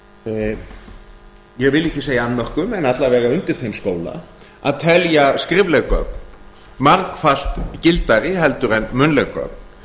ég vil ekki segja annmörkum en alla vega undir þeim skóla að telja skrifleg gögn margfalt gildari heldur en munnleg gögn